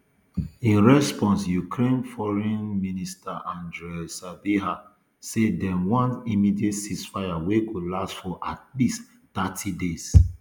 in response ukraine foreign um minister andrii sybiha say dem want immediate ceasefire wey go last for at least thirty days